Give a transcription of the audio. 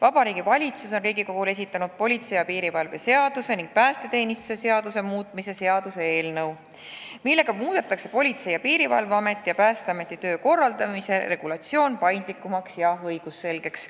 Vabariigi Valitsus on Riigikogule esitanud politsei ja piirivalve seaduse ning päästeteenistuse seaduse muutmise seaduse eelnõu, millega muudetakse Politsei- ja Piirivalveameti ja Päästeameti töö korraldamise regulatsioon paindlikumaks ja õigusselgeks.